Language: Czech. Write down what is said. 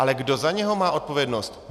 Ale kdo za něj má odpovědnost?